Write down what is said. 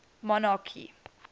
monarchy